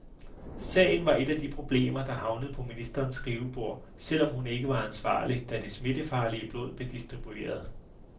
Sagen var et af de problemer, der havnede på ministerens skrivebord, selv om hun ikke var ansvarlig, da det smittefarlige blod blev distribueret.